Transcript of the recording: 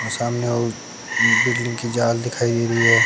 और सामने वो बिल्डिंग की जाल दिखाई दे रही हैं।